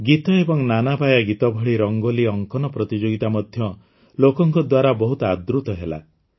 ଗୀତ ଏବଂ ନାନାବାୟା ଗୀତ ଭଳି ରଙ୍ଗୋଲି ଅଙ୍କନ ପ୍ରତିଯୋଗିତା ମଧ୍ୟ ଲୋକଙ୍କ ଦ୍ୱାରା ବହୁତ ଆଦୃତ ହେଲା